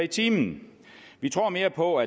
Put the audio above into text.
time vi tror mere på